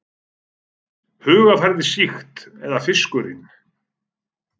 Hugarfarið sýkt eða fiskurinn?